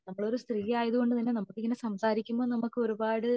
നമ്മൾ ഒരു സ്ത്രീ ആയതുകൊണ്ട് തന്നെ നമുക് ഇങ്ങനെ സംസാരിക്കുമ്പോ നമുക് ഒരുപാട്